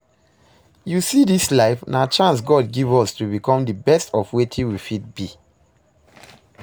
You see dis life? Na chance God give us to become the best of wetin we fit be